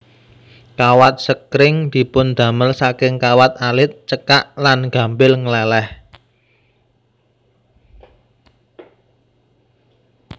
Kawat sekring dipundamel saking kawat alit cekak lan gampil ngleleh